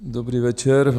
Dobrý večer.